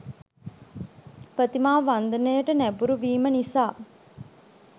ප්‍රතිමා වන්දනයට නැඹුරු වීම නිසා